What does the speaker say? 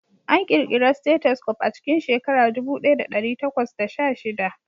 An ƙirƙira stethoscope a cikin shekara ɗubu ɗaya da ɗari takwas da sha shida